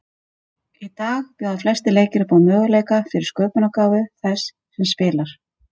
Í dag bjóða flestir leikir upp á möguleika fyrir sköpunargáfu þess sem spilar.